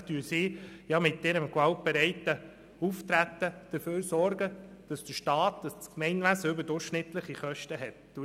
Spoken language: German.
Schlussendlich sorgen sie mit ihrem gewaltbereiten Auftreten dafür, dass der Staat, das Gemeinwesen, überdurchschnittliche Kosten tragen muss.